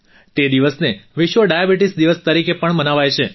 તે દિવસને વિશ્વ ડાયાબિટીસ દિવસ તરીકે પણ મનાવાય છે